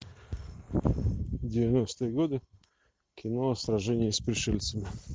девяностые годы кино сражение с пришельцами